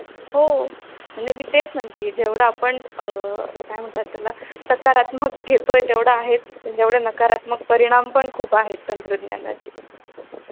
अं बालकामगार मध्ये जे आपण बघतोय कि रस्त्यावर अं भीक वगैरे मागणे हा प्रकार. हा बालकामगार जरी नसला पण अं म्हणजे अं